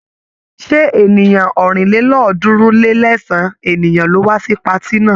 Ṣé ènìyàn ọ̀rìnlélọ́ọ̀ọ́dúnrún-lé-ẹ̀sán ènìyàn ló wá sí patí náà?